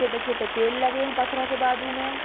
छोटे-छोटे पेड़ लगे हैं पत्थरो के बाजू में।